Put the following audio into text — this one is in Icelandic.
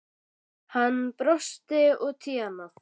Hann brosti út í annað.